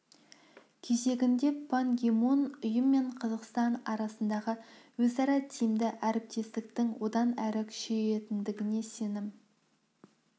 кезегінде пан ги мун ұйым мен қазақстан арасындағы өзара тиімді әріптестіктің одан әрі күшейетіндігіне сенім